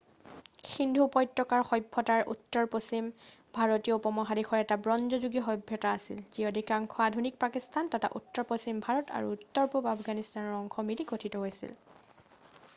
সিন্ধু উপত্যকাৰ সভ্যতাৰ উত্তৰ পশ্চিম ভাৰতীয় উপমহাদেশৰ এটা ব্ৰঞ্জ যুগীয়া সভ্যতা আছিল যি অধিকাংশ আধুনিক পাকিস্তান তথা উত্তৰপশ্চিম ভাৰত আৰু উত্তৰ পূব আফগানিস্তানৰ অংশ মিলি গঠিন হৈছিল